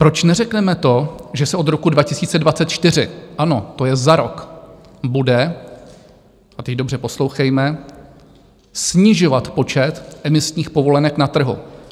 Proč neřekneme to, že se od roku 2024 - ano, to je za rok - bude, a teď dobře poslouchejme, snižovat počet emisních povolenek na trhu.